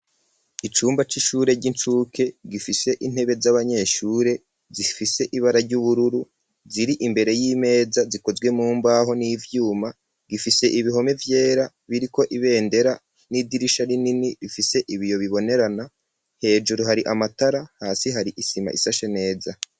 Icumba c'ishure ry'incuke gifise intebe z'abanyeshure zifise ibara ry'ubururu ziri imbere y'imeza zikozwe mumbaho n'ivyuma gifise ibihome vyera biriko ibendera n'idirisha rinini bifise ibiyo bibonerana hejuru hari amatara hasi hari isima ishashe neza.